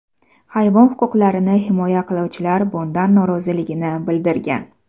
Hayvon huquqlarini himoya qiluvchilar bundan noroziligini bildirgan.